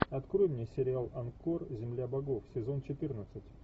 открой мне сериал анкор земля богов сезон четырнадцать